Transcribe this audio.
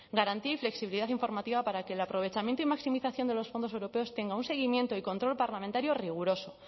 garantía y flexibilidad informativa para que el aprovechamiento y maximización de los fondos europeos tenga un seguimiento y control parlamentario riguroso